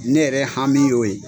Ne yɛrɛ hami y'o ye.